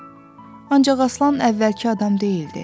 Ancaq Aslan əvvəlki adam deyildi.